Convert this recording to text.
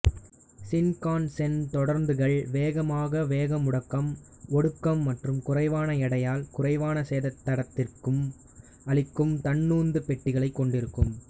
Shinkansen தொடருந்துகள் வேகமான வேகமுடுக்கம் ஒடுக்கம் மற்றும் குறைவான எடையால் குறைவான சேதத்தை தடத்திற்கு அளிக்கும் தன்னுந்து பெட்டிகளை கொண்டிருக்கும்